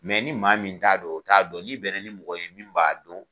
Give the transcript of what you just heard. ni maa min t'a dɔn o t'a dɔn n'i bɛn na ni mɔgɔ ye min b'a dɔn